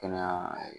Kɛnɛya